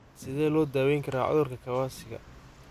Sidee loo daweyn karaa cudurka Kawasaki?